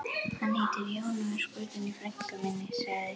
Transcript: Hann heitir Jón og er skotinn í frænku minni, sagði